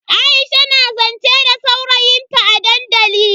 Aisha na zance da saurayin ta a dandali.